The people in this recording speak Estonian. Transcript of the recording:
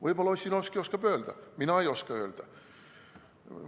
Võib-olla Ossinovski oskab öelda, mina ei oska öelda.